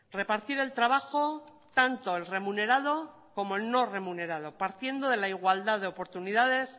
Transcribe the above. repartir el trabajo tanto el remunerado como el no remunerado partiendo de la igualdad de oportunidades